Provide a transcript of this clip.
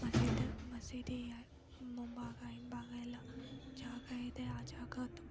ಮಸೀದ್ ಮಸೀದಿಯ ಮುಂಭಾಗ ಹಿಂಭಾಗ ಎಲ್ಲ ಜಾಗ ಇದೆ ಆ ಜಾಗ--